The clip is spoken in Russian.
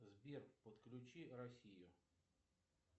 сбер подключи россию